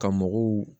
Ka mɔgɔw